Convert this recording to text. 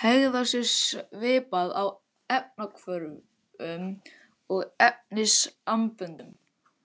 hegða sér svipað í efnahvörfum og efnasamböndum.